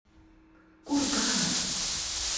кургана